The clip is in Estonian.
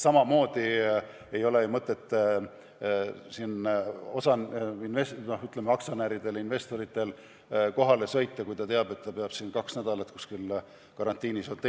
Samamoodi ei ole ju mõtet aktsionäridel-investoritel kohale sõita, kui nad teavad, et peavad kaks nädalat kuskil hotellis karantiinis veetma.